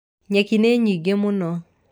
Nyeki nĩ nyingĩ mũno.